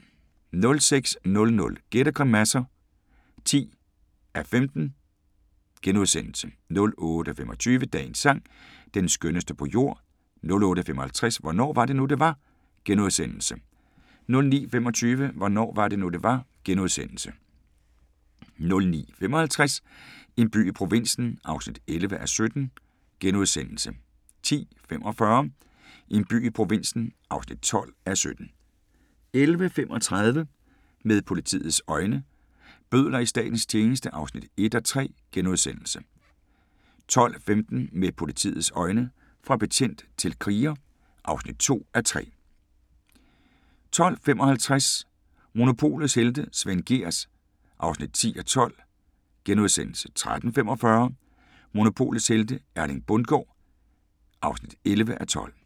06:00: Gæt og grimasser (10:15)* 08:25: Dagens sang: Den skønneste på jord 08:55: Hvornår var det nu, det var? * 09:25: Hvornår var det nu det var * 09:55: En by i provinsen (11:17)* 10:45: En by i provinsen (12:17) 11:35: Med politiets øjne: Bødler i Statens tjeneste (1:3)* 12:15: Med politiets øjne – fra betjent til kriger (2:3) 12:55: Monopolets helte - Svend Gehrs (10:12)* 13:45: Monopolets helte - Erling Bundgaard (11:12)